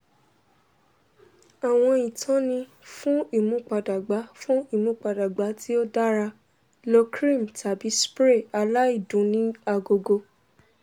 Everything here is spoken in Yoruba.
àwọn ìtọ́ni fún ìmúpadàgba fún ìmúpadàgba tí ó dára:lo créàm tàbí spray aláìdùn ni agogo